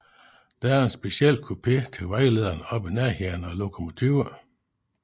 Der er en speciel kupé til vejlederne oppe i nærheden af lokomotivet